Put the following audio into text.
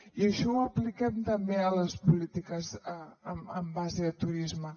i això ho apliquem també a les polítiques en base a turisme